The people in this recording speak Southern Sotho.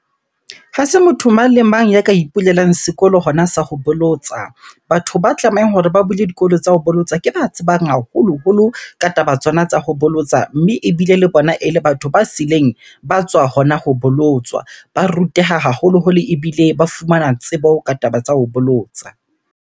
Ha se motho mang le mang ya ka ipulelang sekolo hona sa ho bolotsa. Batho ba tlamehang hore ba bule dikolo tsa ho bolotsa, ke ba tsebang haholoholo ka taba tsona tsa ho bolotsa. Mme ebile le bona ele batho ba sileng ba tswa hona ho bolotswa. Ba ruteha haholoholo, ebile ba fumana tsebo ka taba tsa ho bolotsa.